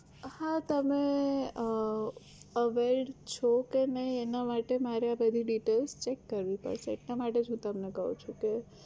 હા તમે અમ aware છો કે નહિ એના માટે મારે બધી details check કરવી પડશે એટલા માટે જ હું તમને કહું છું કે